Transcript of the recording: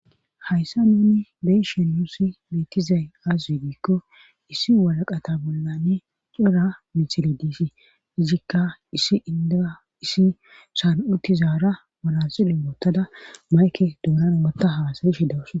Hayssa nuni beyshe yuusi meetizay aaz widiikko issi walaqata bollane cora misile diisi izikka issi indea issi saan7utizaara malasile woottada mayke duunana motta haasayi shidawusa